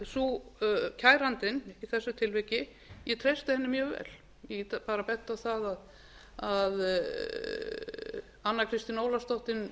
þessu tilviki ég treysti henni mjög vel ég get bara bent á það að önnu kristínu ólafsdóttur